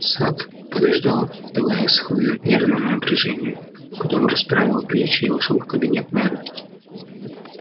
сатт подождал давая схлынуть нервному напряжению потом расправил плечи и вошёл в кабинет мэра